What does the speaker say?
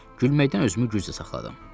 Gülməkdən özümü güclə saxladım.